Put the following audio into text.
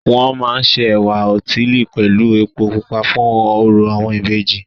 Wọ́n máa ń se ẹ̀wá òtílí pẹ̀lú epo pupa fún orò àwọn ìbejì